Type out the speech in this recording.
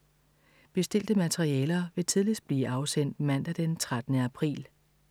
Bestilte materialer vil tidligst blive afsendt mandag den 13. april.